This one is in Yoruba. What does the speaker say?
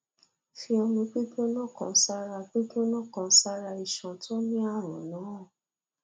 fi omi gbígbóná kan sára gbígbóná kan sára iṣan tó ní àrùn náà